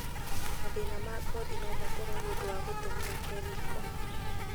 Mathĩna ma ngothi no makorwo nĩ ũndũ wa gũtũmĩra kemiko.